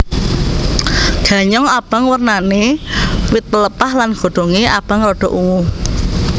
Ganyong abang wernané wit pelepah lan godhongé abang rada ungu